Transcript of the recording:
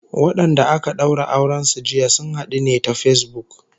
Wadanda aka daura auren su jiya, sun hadu ne ta Facebook